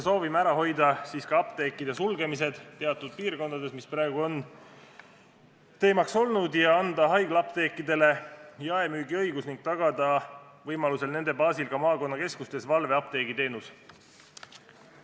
Soovime ära hoida ka apteekide sulgemise teatud piirkondades, mis praegu on teemaks olnud, ning anda haiglaapteekidele jaemüügiõigus ja võimaluse korral tagada nende baasil ka maakonnakeskustes valveapteegi teenuse olemasolu.